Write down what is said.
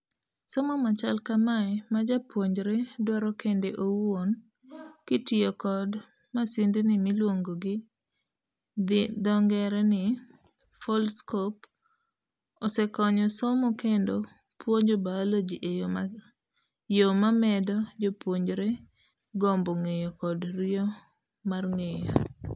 'Somo machal kamae ma japuonjre dwaro kende owuon kitiyo kod masindni miluongo gi dhio ngere ni foldscopeosekonyo somo kendo puonjo biology eyoo mamedo jopuonjre gombo ng'eyo kod riyo mar ng'eyo,